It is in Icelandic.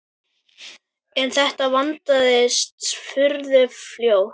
En þetta vandist furðu fljótt.